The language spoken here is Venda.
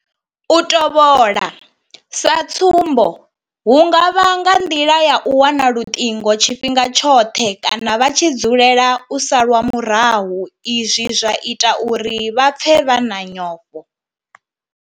U tovhola sa tsumbo hu nga vha nga nḓila ya u wana luṱingo tshifhinga tshoṱhe kana vha tshi dzulela u salwa murahu izwi zwa ita uri vha pfe vha na nyofho.